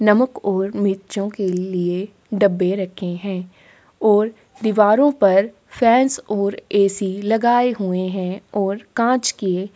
नमक और मिर्चों के लिए डब्बे रखे है ओर दीवारों पर फैंस ओर ऐसी लगाए हुए है ओर कांच के --